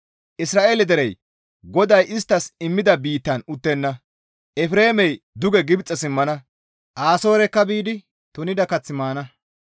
Isra7eele derey GODAY isttas immida biittan uttenna. Efreemey duge Gibxe simmana; Asoorekka biidi tunida kath maana.